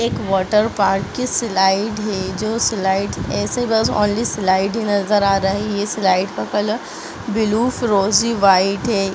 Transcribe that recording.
एक वाटरपार्क की स्लाइड है जो स्लाइड ऐसे बस ओनली स्लाइड ही नजर आ रहे है ये स्लाइड का कलर ब्लू फिरोजी व्हाइट है।